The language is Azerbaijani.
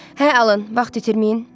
Hə alın, vaxt itirməyin.